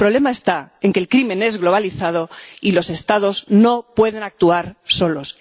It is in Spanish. El problema está en que el crimen es globalizado y los Estados no pueden actuar solos.